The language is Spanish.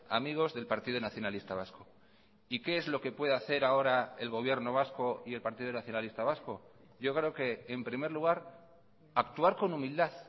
amigos del partido nacionalista vasco y qué es lo que puede hacer ahora el gobierno vasco y el partido nacionalista vasco yo creo que en primer lugar actuar con humildad